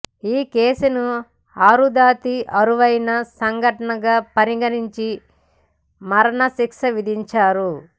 ఈ కేసును అరుదాతి అరుదైన సంఘటనగా పరిగణించి మరణ శిక్ష విధించారు